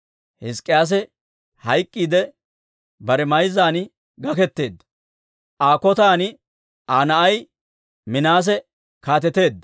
Hizk'k'iyaase hayk'k'iidde, bare mayzzan gaketeedda; Aa koshiyan Aa na'ay Minaase kaateteedda.